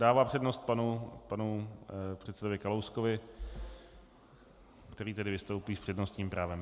Dává přednost panu předsedovi Kalouskovi, který tedy vystoupí s přednostním právem.